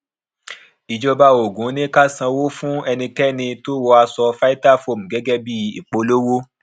ìjọba ogun ní ká san owó fún ẹnikẹni tó wọ aṣọ vitafoam gẹgẹ bí ìpolówó